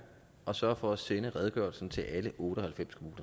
og sørge for at sende redegørelsen til alle otte og halvfems kommuner